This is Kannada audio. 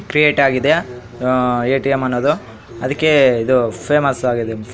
ಕ್ರಿಯೇಟ್ ಏ ಟಿ ಎಮ್ ಅನ್ನೋದು ಅದಕ್ಕೆ ಇದೂ ಫೇಮಸ್ ಆಗಿದೆ.